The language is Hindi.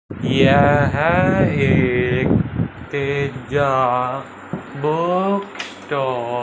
यह एक तेजा बुक स्टॉल --